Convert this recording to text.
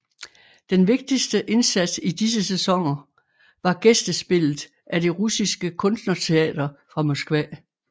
Den vigtigste indsats i disse sæsoner var gæstespillet af det russiske kunstnerteater fra Moskva